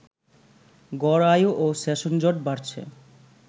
গড় আয়ু ও সেশনজট বাড়ছে